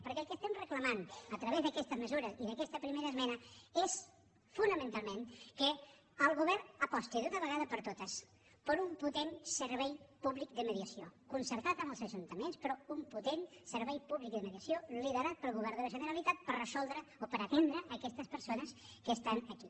perquè el que estem reclamant a través d’aquestes mesures i d’a questa primera esmena és fonamentalment que el govern aposti d’una vegada per totes per un potent servei públic de mediació concertat amb els ajuntaments però un potent servei públic de mediació liderat pel govern de la generalitat per resoldre o per atendre aquestes persones que estan aquí